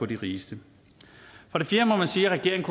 de rigeste for det fjerde må man sige at regeringen